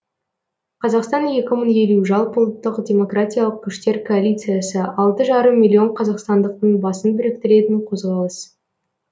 қазақстан екі мың елу жалпыұлттық демократиялық күштер коалициясы алты жарым миллион қазақстандықтың басын біріктіретін қозғалыс